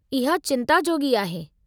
इहो चिंता जोॻी आहे।